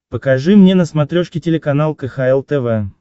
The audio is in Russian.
покажи мне на смотрешке телеканал кхл тв